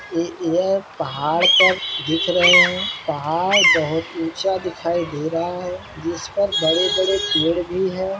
ये यह पहाड़ पर दिख रहे है पहाड़ बहुत ही ऊँचा दिखाई दे रहा है जिस पर बड़े-बड़े पेड़ भी है।